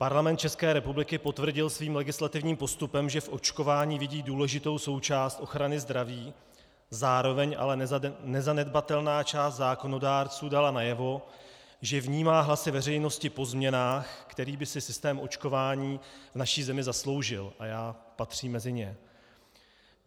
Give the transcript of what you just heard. Parlament České republiky potvrdil svým legislativním postupem, že v očkování vidí důležitou součást ochrany zdraví, zároveň ale nezanedbatelná část zákonodárců dala najevo, že vnímá hlasy veřejnosti po změnách, které by si systém očkování v naší zemi zasloužil, a já patřím mezi ně.